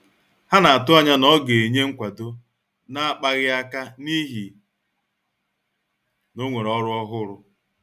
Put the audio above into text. Ha na-atụanya na ọ ga-enye nkwado na-akpaghị aka n'ihi na onwere ọrụ ọhụrụ.